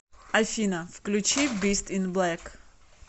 афина включи бист ин блэк